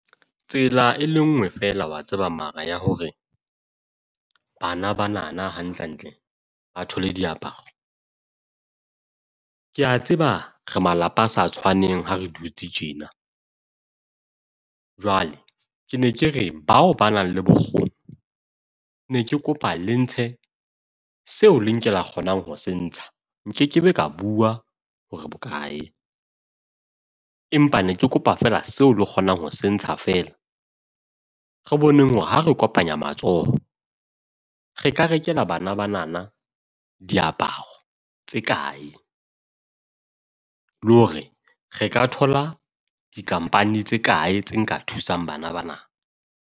Tsela e le nngwe fela wa tseba mara ya hore bana banana hantlentle ba thole diaparo. Ke a tseba re malapa a sa tshwaneng ha re dutse tjena. Jwale ke ne ke re bao ba nang le bokgoni ne ke kopa le ntshe seo le nke la kgonang ho se ntsha. Nkekebe ka bua hore bokae, empa ne ke kopa fela seo le kgonang ho se ntsha feela re boneng hore ha re kopanya matsoho re ka rekela bana bana diaparo tse kae le hore re ka thola di-company tse kae tse nka thusang bana bana.